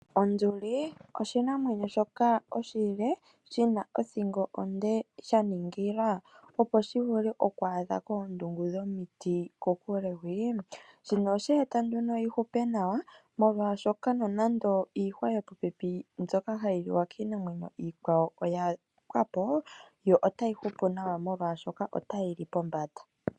Onduli oshinamwenyo shoka oshile shina othingo onde shaningila opo shi vule oku adha koondungu dhomiti kuule. Shino osha eta nduno yihupe nawa molwashoka nonando iihwa yopopepi mbyoka hayi liwa kiinamwenyo iikwawo oya pwa po yo otayi hupu nawa molwashoka yo otayi li pombanda.